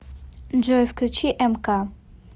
джой включи эмка